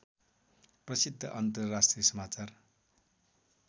प्रसिद्ध अन्तर्राष्ट्रिय समाचार